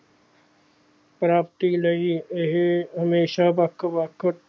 ਪ੍ਰਾਪਤੀ ਲਈ ਇਹ ਹਮੇਸ਼ਾ ਵੱਖ ਵੱਖ